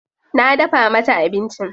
Na dafa mata abincin.